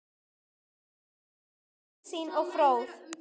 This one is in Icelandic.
Jenný var víðsýn og fróð.